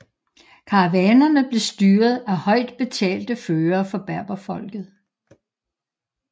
Karavanerne blev styret af højt betalte førere fra berberfolket